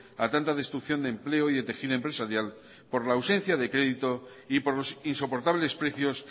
a tanta destrucción de empleo y de tejido empresarial por la ausencia de crédito y por los insoportables precios